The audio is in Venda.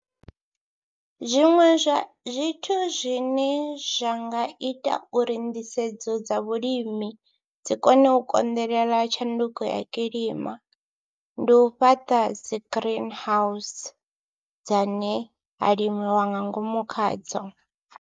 Zwiṅwe zwa zwithu zwine zwa nga ita uri nḓisedzo dza vhulimi dzi kone u konḓelela tshanduko ya kilima ndi u fhaṱa dzi green house dzane ha limiwa nga ngomu khadzo.